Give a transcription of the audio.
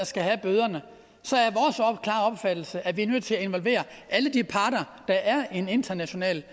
skal have bøderne at vi er nødt til at involvere alle de parter der er i en international